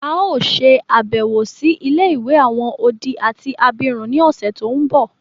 A o ṣe àbẹ̀wò si ilé-ìwé àwon odi àti abirún ni ọ̀ṣẹ̀ to nbọ.